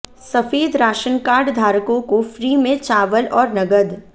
सफेद ration card धारकों को फ्री में चावल और नगद